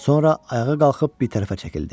Sonra ayağa qalxıb bir tərəfə çəkildi.